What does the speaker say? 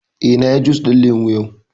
Eh, na yi jus ɗin lemu yau